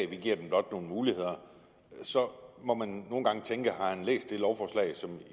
vi giver dem blot nogle muligheder men så må man nogle gange tænke har han læst det lovforslag som man